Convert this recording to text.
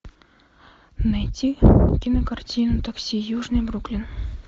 найти кинокартину такси южный бруклин